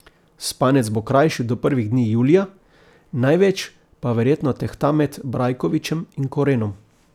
Spanec bo krajši do prvih dni julija, največ pa verjetno tehta med Brajkovičem in Korenom.